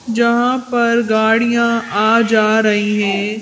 जहां पर गाड़ियां आ जा रही हैं।